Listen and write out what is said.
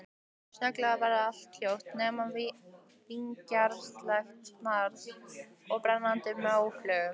Snögglega varð allt hljótt, nema vingjarnlegt snark frá brennandi móflögum.